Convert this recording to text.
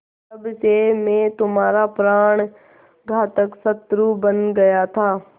तब से मैं तुम्हारा प्राणघातक शत्रु बन गया था